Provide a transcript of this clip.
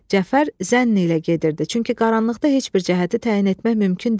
Cəfər zənn ilə gedirdi, çünki qaranlıqda heç bir cəhəti təyin etmək mümkün deyildi.